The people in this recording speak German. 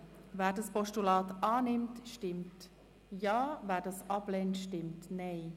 Wer das Postulat annimmt, stimmt Ja, wer dieses ablehnt, stimmt Nein.